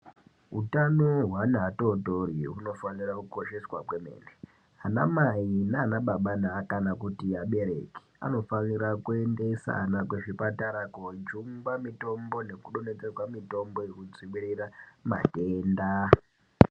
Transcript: Hutano hwevana vatotori hunofano kosheswa kwemene ana mai nana baba kana kuti vabereki anofana kuendesa vana kuzvipatara kojungwa mitombo nekudonhedzerwa mitombo yekudzivirira matenda.